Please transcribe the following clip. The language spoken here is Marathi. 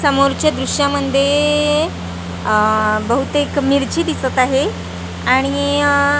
समोरच्या दृश्यामध्ये आह बहुतेक मिरची दिसत आहे आणि आह --